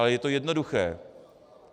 Ale je to jednoduché.